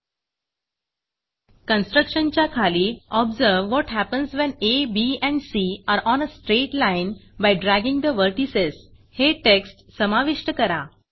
constructionकन्स्ट्रक्टशन च्या खाली observe what happens when A B and C are on a straight line by dragging the vertices हे text समाविष्ट करा